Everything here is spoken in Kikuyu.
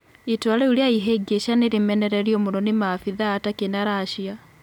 Itua rĩũ rĩa ihĩngĩca nĩ rĩmenereirio mũno nĩ maabithaa a Takĩ na Rasia